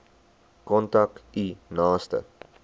kontak u naaste